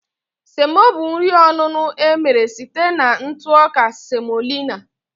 Semo bụ nri onuno emere site na ntụ ọka semolina